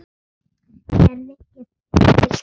Gerði ég þér bylt við?